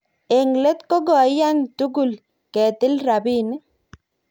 Eng let ko koiyan tugul ketil rabinik